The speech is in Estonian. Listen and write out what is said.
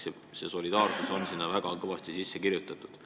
Selline solidaarsus on meie süsteemi väga kindlalt sisse kirjutatud.